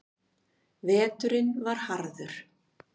Veturinn var harður.